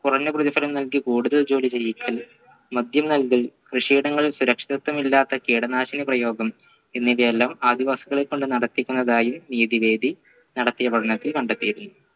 കുറഞ്ഞ പ്രതിഫലം നൽകി കൂടുതൽ ജോലി ചെയ്യിക്കൽ മദ്യം നൽകൽ കൃഷിയിടങ്ങളിൽ സുരക്ഷിതത്വം ഇല്ലാത്ത കീടനാശിനി പ്രയോഗം എന്നിവയെല്ലാം ആദിവാസികളെ കൊണ്ട് നടത്തിക്കുന്നതായി നീതി വേദി നടത്തിയ പഠനത്തിൽ കണ്ടെത്തിയിരുന്നു